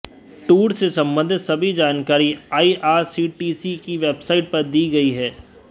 tour से संबंधित सभी जानकारी आईआरसीटीसी की वेबसाइट पर दी गई है